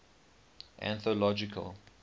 anthological